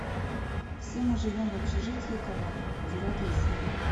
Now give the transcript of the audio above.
все мы живем в общежитии кавай девятая серия